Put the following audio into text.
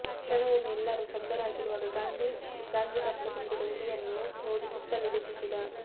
ಕ್ಷಣವೊಮ್ಮೆ ಎಲ್ಲರೂ ಸ್ತಬ್ಧರಾಗಿರುವಾಗ ಗಾದ್ಲಿಂಗಪ್ಪ ತುಂಬಿದ ಉಡಿಯನ್ನು ನೋಡಿ ಸುತ್ತಲೂ ದಿಟ್ಟಿಸಿದ